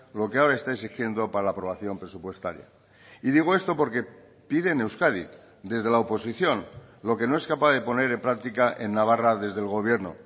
lo que ahora está exigiendo para la aprobación presupuestaria y digo esto porque pide en euskadi desde la oposición lo que no es capaz de poner en práctica en navarra desde el gobierno